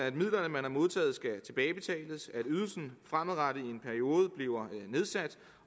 at midlerne man har modtaget skal tilbagebetales at ydelsen fremadrettet i en periode bliver nedsat